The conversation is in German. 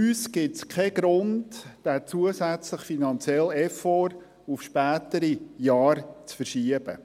Für uns gibt es keinen Grund, diesen zusätzlichen finanziellen Effort auf spätere Jahre zu verschieben.